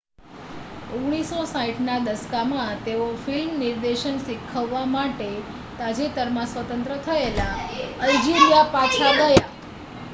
1960ના દશકમાં તેઓ ફિલ્મ નિર્દેશન શીખવવા માટે તાજેતરમાં સ્વતંત્ર થયેલા અલ્જિરિયા પાછા ગયા